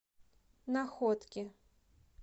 находки